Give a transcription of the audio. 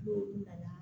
N'o nana